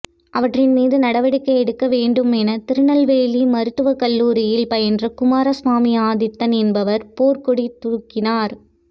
அவற்றின் மீது நடவடிக்கை எடுக்க வேண்டும் என திருநெல்வேலி மருத்துவக்கல்லுாரியில் பயின்ற குமாரசாமி ஆதித்தன் என்பவர் போர்க்கொடி துாக்கினார்